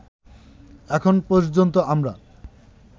এখন পর্যন্ত আমরা